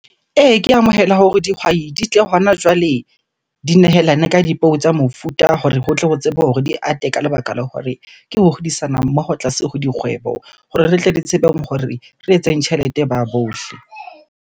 Ee, ke amohela hore dihwai di tle hona jwale di nehelane ka dipeo tsa mofuta hore ho tle ho tsebe hore di ate ka lebaka la hore, ke ho hodisana mmoho tlase ho dikgwebo. Hore re tle re tsebeng hore re etseng tjhelete ba bohle.